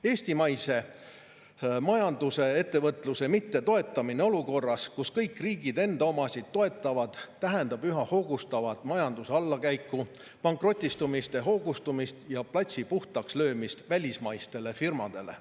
Eestimaise majanduse ja ettevõtluse mittetoetamine olukorras, kus kõik riigid enda omasid toetavad, tähendab üha hoogustuvat majanduse allakäiku, pankrotistumiste hoogustumist ja platsi puhtaks löömist välismaistele firmadele.